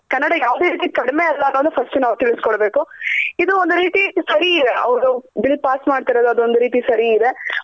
ಯಾವದೇ ರೀತಿ ಕಡ್ಮೆ ಅಲ್ಲ ಅಂತ first ನಾವ್ ತಿಳ್ಸ್ಕೊಡ್ಬೇಕು. ಇದು ಒಂದ್ ರೀತಿ ಸರಿ ಅವ್ರದ್ bill pass ಮಾಡ್ತಾರಿದ್ ಅದ್ ಒಂದ್ ರೀತಿ ಸರಿ ಇದೆ.